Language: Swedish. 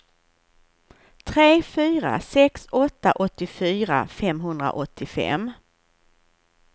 tre fyra sex åtta åttiofyra femhundraåttiofem